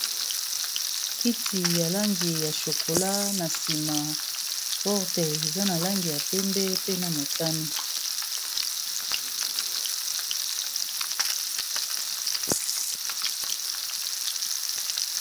kiti ya langi ya chokola na nsima porte eza na langi ya pembe pe na motani